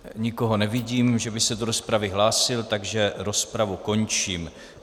Nikoho nevidím, že by se do rozpravy hlásil, takže rozpravu končím.